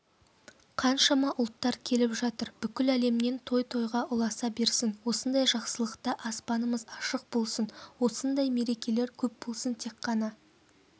қаншама ұлттар келіп жатыр бүкіл әлемнен той тойға ұласа берсін осындай жақсылықта аспанымыз ашық болсын осындай мерекелер көп болсын тек қана